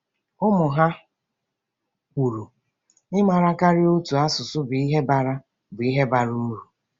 Ụmụ ha kwuru: “Ịmara karịa otu asụsụ bụ ihe bara bụ ihe bara uru.”